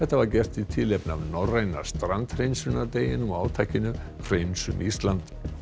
var gert í tilefni af norræna og átakinu hreinsum Ísland